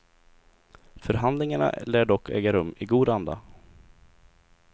Förhandlingarna lär dock äga rum i god anda.